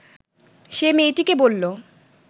সে মেয়েটিকে বলল